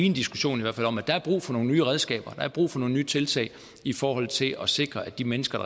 en diskussion om at der er brug for nogle nye redskaber at der er brug for nogle nye tiltag i forhold til at sikre at de mennesker